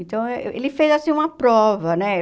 Então, ele fez assim uma prova, né?